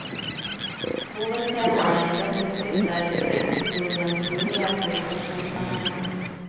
Hovedtemaet i dette skriftet er distriktshistoriens muligheter i forskningssammenheng.